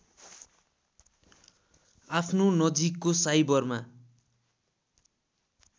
आफ्नो नजिकको साइबरमा